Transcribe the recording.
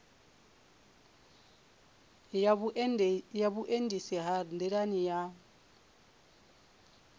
ya vhuendisi ha nḓilani ha